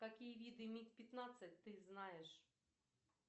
какие виды миг пятнадцать ты знаешь